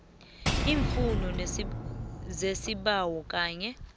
iimfuno zesibawo kanye